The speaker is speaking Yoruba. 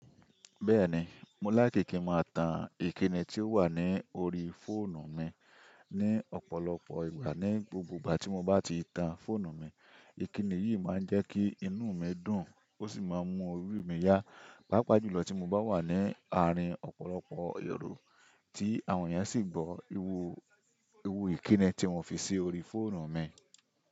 Bẹ́ẹ̀ni, mo láìki kí máa tan ìkíni tí ó wà ní orí fóònù mi ní ọ̀pọ̀lọpọ̀ ìgbà. Ní gbogbo ìgbà tí mo bá ti tan fóònù mi, ìkíni yìí máa ń jẹ́ kí inú mi dùn ó sì máa ń mú orí mi yá. Pàápàá jùlọ tí mo bá wà ní àárín ọ̀pọ̀lọpọ̀ èero, tí àwọn ènìyàn sì ń gbọ́ iru irú ìkíni tí mo fi sí orí fóònù mi.